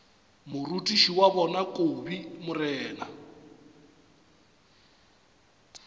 morutiši wa bona kobi mna